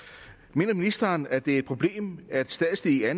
mener ministeren at det er et problem at statslige